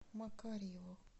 макарьеву